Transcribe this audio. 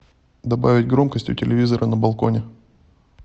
добавить громкость у телевизора на балконе